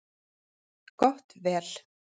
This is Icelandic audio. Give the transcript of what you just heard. Gott vel.